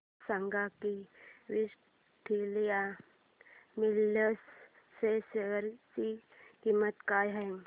हे सांगा की विक्टोरिया मिल्स च्या शेअर ची किंमत काय आहे